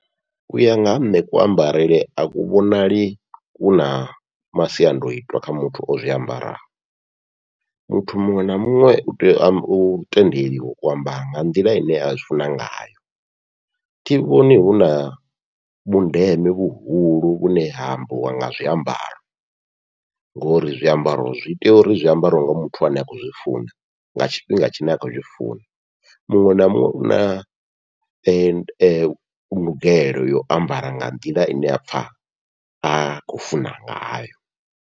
Uya nga ha nṋe ku ambarele aku vhonali kuna masiandoitwa kha muthu ozwi ambaraho, muthu muṅwe na muṅwe utea u tendeliwa u ambara nga nḓila ine azwi funa ngayo thi vhoni huna vhundeme vhuhulu vhune hambiwa nga zwiambaro, ngori zwiambaro zwi tea uri zwiambariwe nga muthu ane a khou zwi funa nga tshifhinga tshine a khou tshi funa, muṅwe na muṅwe u na ndugelo yau ambara nga nḓila ine a pfha a khou funa ngayo.